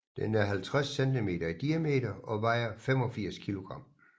Den er 50 cm i diameter og vejer 85 kg